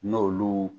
N'olu